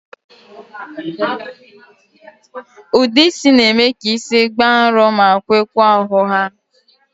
Ude isi n'eme ka isi gbàà nrò ma kwekwaa ọhụha